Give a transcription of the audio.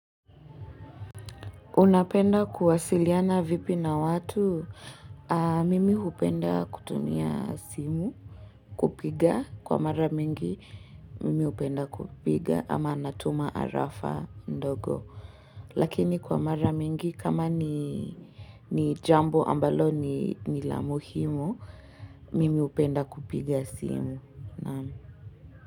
Unapenda kuwasiliana vipi na watu, mimi hupenda kutumia simu, kupiga, kwa mara mingi mimi hupenda kupiga ama natuma arafa ndogo, lakini kwa mara mingi kama ni jambo ambalo ni la muhimu, mimi hupenda kupiga simu.